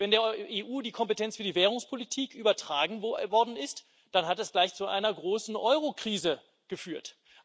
Als der EU die Kompetenz für die Währungspolitik übertragen worden ist, dann hat es gleich zu einer großen Eurokrise geführt.